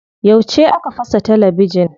Yauce aka fasa talabijin?